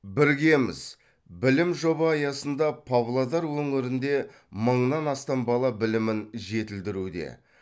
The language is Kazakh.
біргеміз білім жоба аясында павлодар өңірінде мыңнан астам бала білімін жетілдіруде